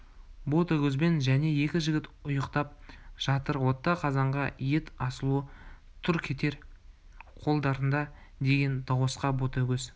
ботагөзбен және екі жігіт ұйқтап жатыр отта қазанға ет асулы тұр көтер қолдарыңды деген дауысқа ботагөз